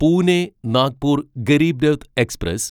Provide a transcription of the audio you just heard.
Pune Nagpur Garib Rath express